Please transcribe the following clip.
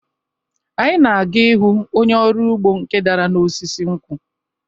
Anyị na-aga ịhụ onye ọrụ ugbo nke dara n’osisi nkwụ